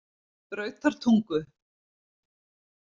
Brautartungu